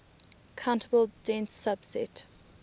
countable dense subset